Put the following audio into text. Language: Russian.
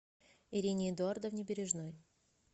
ирине эдуардовне бережной